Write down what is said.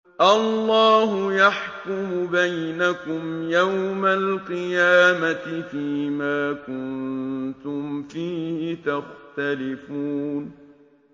اللَّهُ يَحْكُمُ بَيْنَكُمْ يَوْمَ الْقِيَامَةِ فِيمَا كُنتُمْ فِيهِ تَخْتَلِفُونَ